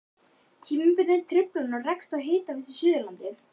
Tímabundnar truflanir á rekstri hitaveitna á Suðurlandi.